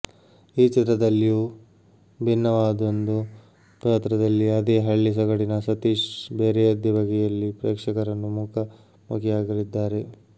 ಈ ಚಿತ್ರದಲ್ಲಿಯೂ ಭಿನ್ನವಾದೊಂದು ಪಾತ್ರದಲ್ಲಿ ಅದೇ ಹಳ್ಳಿ ಸೊಗಡಿನ ಸತೀಶ್ ಬೇರೆಯದ್ದೇ ಬಗೆಯಲ್ಲಿ ಪ್ರೇಕ್ಷಕರನ್ನು ಮುಖಾ ಮುಖಿಯಾಗಲಿದ್ದಾರೆ